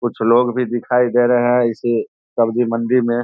कुछ लोग भी दिखाई दे रहें हैं इसे सब्जी मंडी में --